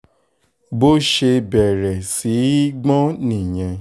bó ṣe bẹ̀rẹ̀ sí í gbọ́n nìyẹn